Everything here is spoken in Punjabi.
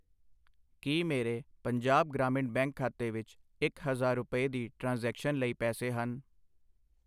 ਕੀ ਮੇਰੇ ਪੰਜਾਬ ਗ੍ਰਾਮੀਣ ਬੈਂਕ ਖਾਤੇ ਵਿੱਚ ਇੱਕ ਹਜ਼ਾਰ ਰੁਪਏ, ਦੀ ਟ੍ਰਾਂਜੈਕਸ਼ਨ ਲਈ ਪੈਸੇ ਹਨ